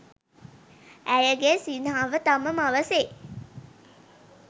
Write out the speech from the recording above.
ඇයගේ සිනහව තම මව සේ